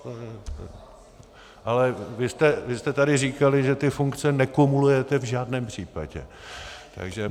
Ale vy jste tady říkali, že ty funkce nekumulujete v žádném případě.